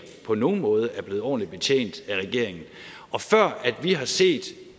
på nogen måde er blevet ordentligt betjent af regeringen og før vi har set